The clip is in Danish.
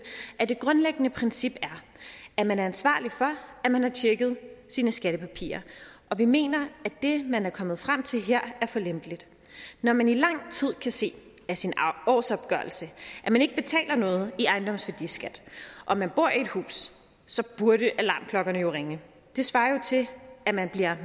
at et grundlæggende princip er at man er ansvarlig for at man har tjekket sine skattepapirer og vi mener at det man her er kommet frem til er for lempeligt når man i lang tid kan se af sin årsopgørelse at man ikke betaler noget i ejendomsværdiskat og man bor i et hus burde alarmklokkerne jo ringe det svarer til at man bliver